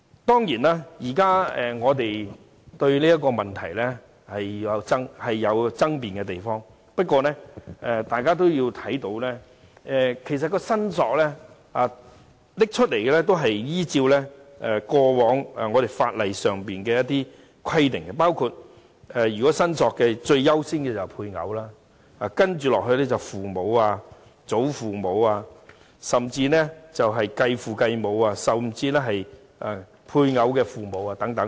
當然，現在我們對這個問題仍有爭辯之處，但我希望大家留意其實有關申索權的部分也是按照法例的一貫規定，包括最優先的申索權必然屬於配偶，接着是父母、祖父母，甚或繼父母和配偶的父母等。